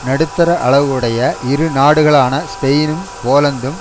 நடுத்தர அளவு உடைய இரு நாடுகளான ஸ்பெயினும் போலந்தும்